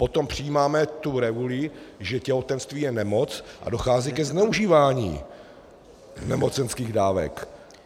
Potom přejímáme tu reguli, že těhotenství je nemoc, a dochází ke zneužívání nemocenských dávek.